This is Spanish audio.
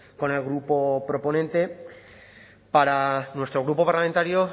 con el grupo proponente para nuestro grupo parlamentario